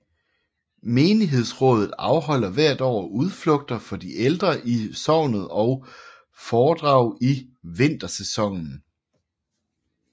Menighedsrådet afholder hvert år udflugter for de ældre i sognet og foredrag i vintersæsonen